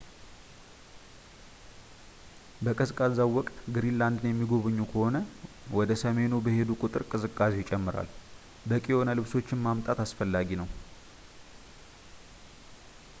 በቀዝቃዛው ወቅት ግሪንላንድን የሚጎበኙ ከሆነ ወደ ሰሜኑ በሄዱ ቁጥር ቅዝቃዜው ይጨምራል፣ በቂ የሆነ ልብሶችን ማምጣት አስፈላጊ ነው፡፡